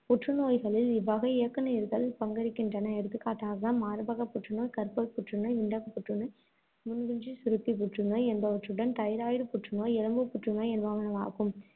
புற்றுநோய்களில் இவ்வகை இயக்குநீர்கள் பங்கெடுக்கின்றன. எடுத்துக்காட்டாக மார்பகப் புற்றுநோய், கருப்பை புற்றுநோய், விந்தகப் புற்றுநோய், முன்னிற்குஞ்சுரப்பி புற்றுநோய், என்பவற்றுடன் தைராய்டு புற்றுநோய், எலும்பு புற்றுநோய் என்பனவாகும்.